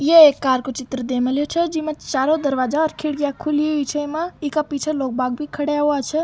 ये एक कार को चित्र दे मालिओ छे जिमा चारो दरवाजा और खिड़कीया खुली हुई छे इमा एका पीछे लोग बाग भी खड़े हुआ छे।